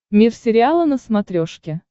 мир сериала на смотрешке